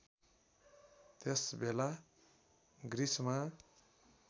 त्यस बेला ग्रिसमा